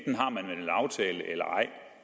aftale eller ej